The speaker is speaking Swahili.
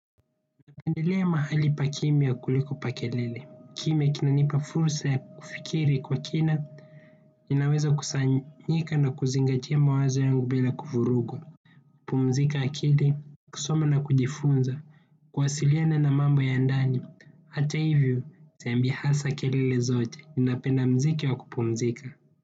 Napendelea mahali pa kimya kuliko pa kelele, kimya kinanipa fursa ya kufikiri kwa kina. Ninaweza kusanyika na kuzingatia mawazo yangu bila kufurugwa, kupumzika akili, kusoma na kujifunza, kuwasiliana na mambo ya ndani. Hata hivyo, sipendi hasa kelele zote, ninapenda muziki wa kupumzika.